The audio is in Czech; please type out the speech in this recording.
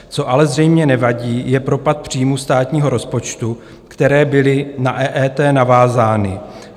Co ale zřejmě nevadí, je propad příjmů státního rozpočtu, které byly na EET navázány.